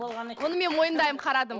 оны мен мойындаймын қарадым